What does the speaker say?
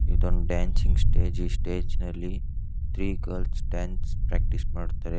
ಇದೊಂದು dancing stage ಈ stage ನಲ್ಲಿ ತ್ರೀ ಗರ್ಲ್ ಡಾನ್ಸ್ ಪ್ರಾಕ್ಟೀಸ್ ಮಾಡ್ತಾರೆ.